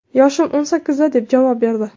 Yoshim o‘n sakkizda”, deb javob berdi.